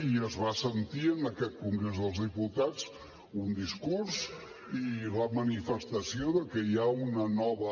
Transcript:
i es va sentir en aquest congrés dels diputats un discurs i la manifestació de que hi ha una nova